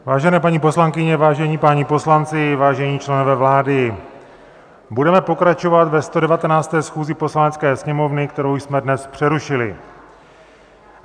Vážené paní poslankyně, vážení páni poslanci, vážení členové vlády, budeme pokračovat ve 119. schůzi Poslanecké sněmovny, kterou jsme dnes přerušili.